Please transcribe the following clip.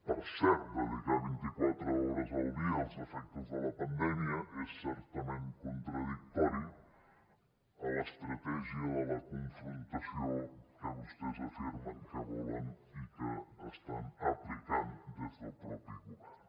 per cert dedicar vint i quatre hores al dia als efectes de la pandèmia és certament contradictori amb l’estratègia de la confrontació que vostès afirmen que volen i que estan aplicant des del mateix govern